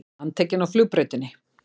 Handtekinn á flugbrautinni